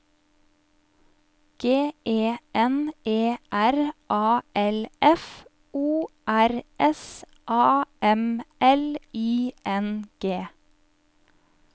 G E N E R A L F O R S A M L I N G